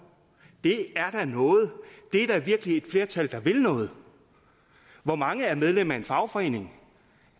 det er da noget og det er da virkelig et flertal der vil noget hvor mange er medlem af en fagforening